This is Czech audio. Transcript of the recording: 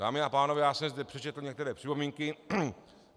Dámy a pánové, já jsem zde přečetl některé připomínky.